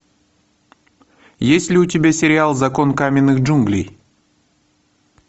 есть ли у тебя сериал закон каменных джунглей